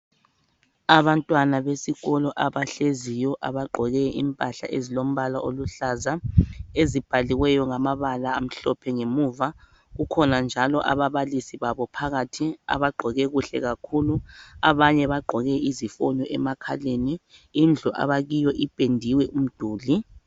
Abantwana besikolo abahleziyo, abagqoke impahla ezilombala oluhlaza, ezibhaliweyo ngamabala amhlophe ngemuva. Kukhona njalo ababalisi babo phakathi abagqoke kuhle kakhulu. Abanye bagqoke izifonyo emakhaleni. Indlu abakiyo ipendiwe umduli.